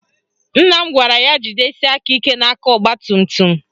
Nna m gwara ya jidesie aka ike n'aka ọgbatumtum